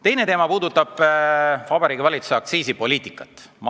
Teine teema puudutab Vabariigi Valitsuse aktsiisipoliitikat.